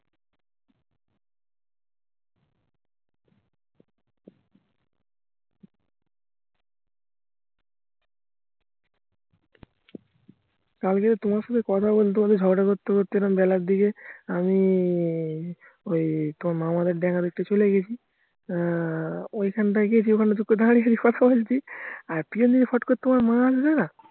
কালকে তো তোমার সাথে কথা বলতে বলতে ঝগড়া করতে করতে বেলার দিকে আমি ওই তোমার মামাদের দেখতে চলে গেছি আহ ঐখান থেকে যে তুই দাড়িয়েছিলি কথা বলছিলি আর পেছন থেকে ফোট করে তোমার মা আসবে না